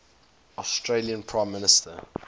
australian prime minister